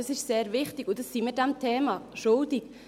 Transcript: Das ist sehr wichtig, und das sind wir diesem Thema schuldig.